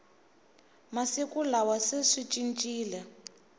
masiku lawa se swi cincile